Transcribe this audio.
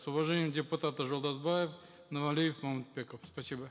с уважением депутаты жолдасбаев нуралиев мамытбеков спасибо